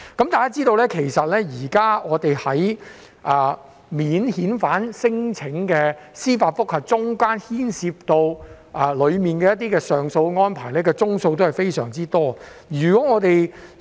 大家也知道，現時免遣返聲請的司法覆核中，牽涉上訴安排的宗數非常多。